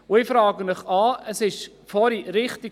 Ich frage Sie an ...